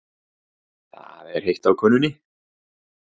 Það er heitt á könnunni.